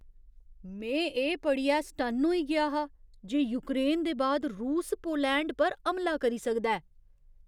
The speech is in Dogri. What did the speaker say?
में एह् पढ़ियै सटन्न होई गेआ हा जे यूक्रेन दे बाद रूस पोलैंड पर हमला करी सकदा ऐ।